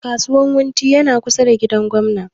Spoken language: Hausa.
Kasuwan wunti na kusa da gidan gwamna